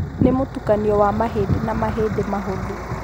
Nĩ mũtukanio wa mahĩndĩ na mahĩndĩ mahũthũ.